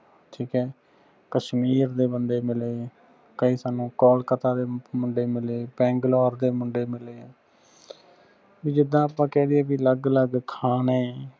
ਠੀਕ ਹੈ ਕਸ਼ਮੀਰ ਦੇ ਬੰਦੇ ਮਿਲੇ ਕਈ ਸਾਨੂੰ ਕੋਲਕਤਾ ਦੇ ਮੁੰਡੇ ਮਿਲੇ ਬੰਗਲੌਰ ਦੇ ਮੁੰਡੇ ਮਿਲੇ ਜਿਦਾਂ ਆਪਾਂ ਕਹਿ ਦੀਏ ਅਲੱਗ ਅਲੱਗ ਖਾਣੇ।